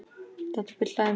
Þetta bull hlægir mig